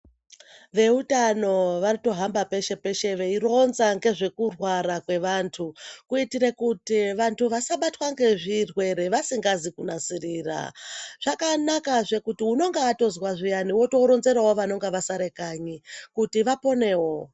Veutano vanotohamba peshe-peshe veironza ngezvekurwara kwevantu, kuitire kuti vantu vasabatwa ngezvirwere vasingazi kunasirira. Zvakanakazve kuti unonga atozwa zviyani, wotooronzerawo vanonga vasare kanyi, kuti vapponewo.